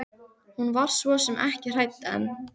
Hún var svo sem ekki hrædd en.